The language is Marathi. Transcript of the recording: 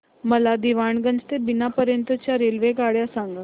मला दीवाणगंज ते बिना पर्यंत च्या रेल्वेगाड्या सांगा